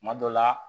Kuma dɔ la